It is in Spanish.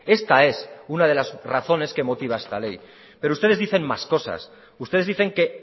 esta es una de las razones que motiva esta ley pero ustedes dicen más cosas ustedes dicen que